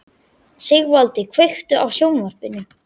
Sigvaldi, kveiktu á sjónvarpinu.